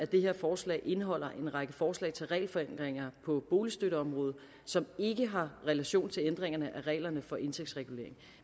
det her forslag indeholder en række forslag til regelforenklinger på boligstøtteområdet som ikke har relation til ændringerne af reglerne for indtægtsregulering